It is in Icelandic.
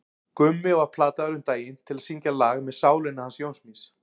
Gummi var plataður um daginn til að syngja lag með Sálinni hans Jóns míns.